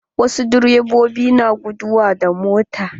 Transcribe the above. Wasu direbobi na guduwa da mota.